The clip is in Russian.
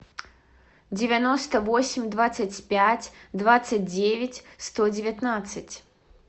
девяносто восемь двадцать пять двадцать девять сто девятнадцать